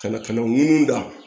Ka na kɛnɛw ŋunu da